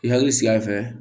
I hakili sigi a fɛ